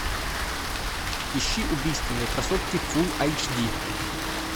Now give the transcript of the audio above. ищи убийственные красотки фулл айч ди